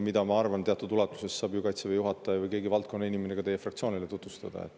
Seda, ma arvan, teatud ulatuses saab ju Kaitseväe juhataja või keegi valdkonna inimene ka teie fraktsioonile tutvustada.